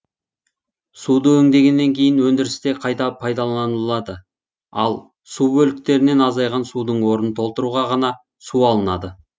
суды өңдегеннен кейін өндірісте қайта пайдаланылады ал су бөліктерінен азайған судың орнын толтыруға ғана су алынады